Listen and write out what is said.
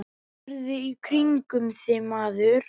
Horfðu í kringum þig, maður.